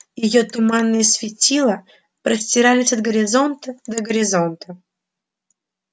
её туманные светила простирались от горизонта до горизонта